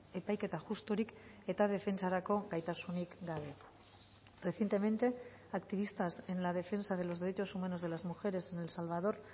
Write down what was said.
epaiketa justurik eta defentsarako gaitasunik gabe recientemente activistas en la defensa de los derechos humanos de las mujeres en el salvador